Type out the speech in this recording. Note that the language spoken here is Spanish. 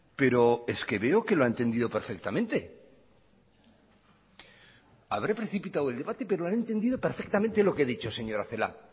pero es que veo que lo ha entendido perfectamente habré precipitado el debate pero ha entendido perfectamente lo que he dicho señora celaá